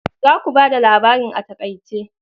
Za ku bada labarin a taƙaice.